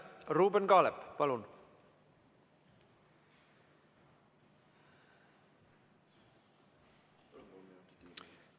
Ruuben Kaalep, palun!